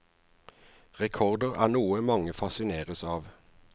Rekorder er noe mange fascineres av.